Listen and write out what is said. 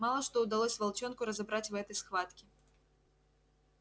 мало что удалось волчонку разобрать в этой схватке